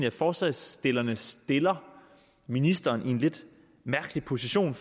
at forslagsstillerne stiller ministeren i en lidt mærkelig position